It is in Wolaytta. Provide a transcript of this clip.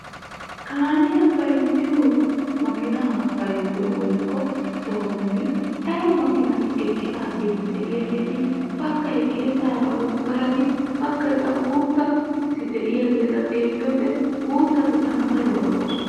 Kaamiyaa bayzziyoo maakinaa woykko bayzziyoo sohotun daro makinati eqqidaageti de'iyaageti baggay geesaara woggarati baggay qassi guuttati de'iyaageta xeelliyoo wode guuttati tana daruwaa lo"oosona.